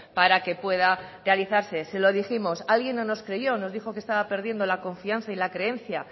para que pueda realizarse se lo dijimos alguien no nos creyó nos dijo que estaba perdiendo la confianza y la creencia